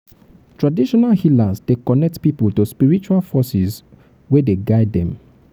traditional healers dey connect pipo to spiritual forces wey dey guide dem.